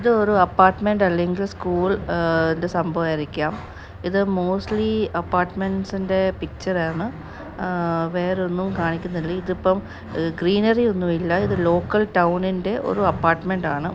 ഇത് ഒരു അല്ലങ്കിൽ ഇത് സംഭവായിരിക്കാം ഇത് ന്റെ ആണ് വേറെ ഒന്നും കാണിക്കുന്നില്ല ഇത് ഇപ്പം ഒന്നും ഇല്ല ഇത് ന്റെ ഒരു ആണ്.